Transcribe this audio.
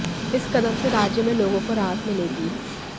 इस कदम से राज्य में लोगों को राहत मिलेगी